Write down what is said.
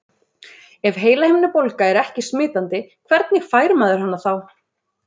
Ef heilahimnubólga er ekki smitandi, hvernig fær maður hana þá?